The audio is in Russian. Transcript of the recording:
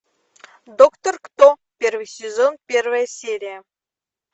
доктор кто первый сезон первая серия